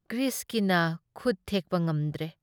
ꯒ꯭ꯔꯤꯁꯀꯤꯅ ꯈꯨꯠ ꯊꯦꯛꯄ ꯉꯝꯗ꯭ꯔꯦ ꯫